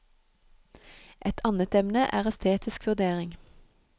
Et annet emne er estetisk vurdering.